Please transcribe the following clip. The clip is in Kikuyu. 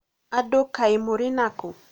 andũ kaĩ mũrĩ nakũ?